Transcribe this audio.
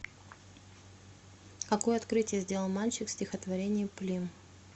какое открытие сделал мальчик в стихотворении плим